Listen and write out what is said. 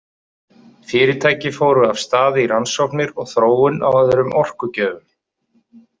Fyrirtæki fóru af stað í rannsóknir og þróun á öðrum orkugjöfum.